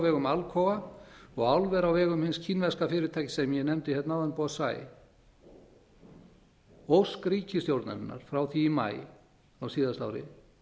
vegum alcoa og álver á vegum hins kínverska fyrirtækis sem ég nefndi hérna áðan bosai ósk ríkisstjórnarinnar frá því í maí á síðasta ári